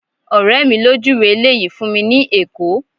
ọrẹ mi lo juwe ile yìí fún mi ni ẹkọ